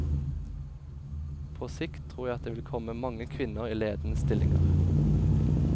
På sikt tror jeg det vil komme mange kvinner i ledende stillinger.